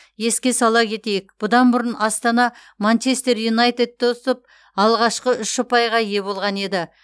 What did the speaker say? еске сала кетейік бұдан бұрын астана манчестер юнайтедті ұтып алғашқы үш ұпайға ие болған еді